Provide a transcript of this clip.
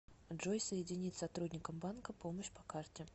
джой соединить с сотрудником банка помощь по карте